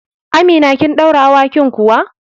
Amina, kin ɗaure awakin kuwa?